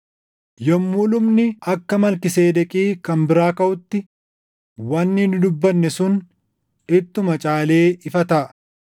Yommuu lubni akka Malkiiseedeqi kan biraa kaʼutti, wanni nu dubbanne sun ittuma caalee ifa taʼa;